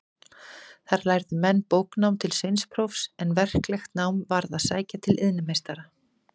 Þar lærðu menn bóknám til sveinsprófs, en verklegt nám varð að sækja til iðnmeistara.